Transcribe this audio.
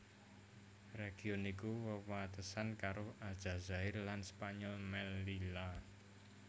Region iki wewatesan karo Aljazair lan Spanyol Mellila